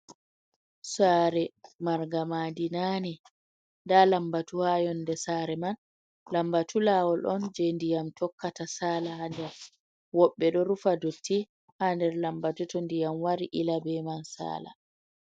Sare mar nga ma'di nane. Nda lambatu ha yonde sare man. Lambatu lawol on je ndiyam tokkata sala ha nder. Woɓbe ɗo rufa dotti ha nder lambatu to ndiyam wari ila be man sala.